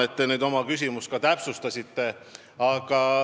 Ma tänan, et te oma küsimust täpsustasite.